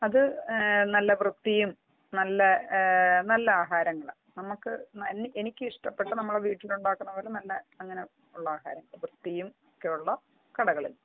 അത് നല്ല വൃത്തിയും നല്ല നല്ല ആഹാരങ്ങളാണ് നമുക്ക് എനിക്ക് ഇഷ്ട്ടപ്പെട്ട നമ്മളുടെ വീട്ടിൽ ഉണ്ടാക്കുന്ന പോലെ നല്ല ആഹാരങ്ങളാണ് വൃത്തിയും ഒക്കെയുള്ള കടകളിൽ